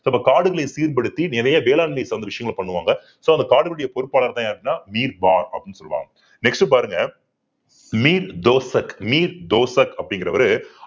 so அப்ப காடுகளை சீர்படுத்தி நிறைய வேளாண்மை சார்ந்த விஷயங்கள பண்ணுவாங்க so அந்த காடுகளுடைய பொறுப்பாளர்தான் யாருன்னா அப்படின்னு சொல்லுவாங்க next பாருங்க மீர் தோசக் மீர் தோசக் அப்படிங்கிறவரு